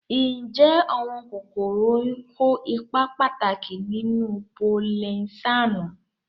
Ǹjẹ́ àwọn kòkòrò oyin kó ipa pàtàkì nínú polinésáànù?